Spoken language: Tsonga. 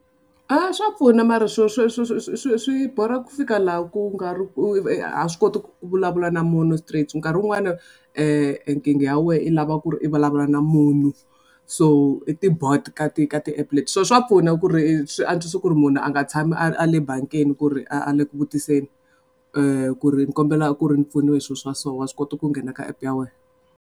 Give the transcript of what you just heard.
A swa pfuna mara swo swo swi swi swi swi swi boeha ku fika laha ku nga ri ku a swi koti ku vulavula na munhu straight nkarhi wun'wani nkingha ya wena i lava ku ri i vulavula na munhu so ti-bot ka ti ka ti-app leti so swa pfuna ku ri swi antswisa ku ri munhu a nga tshami a le bangini ku ri a le ku vutiseni ku ri ni kombela ku ri ni pfuniwa hi swilo swa so wa swi kota ku nghena ka app ya wena.